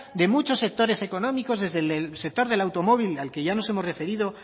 de muchos sectores económicos desde el sector del automóvil al que ya nos hemos referido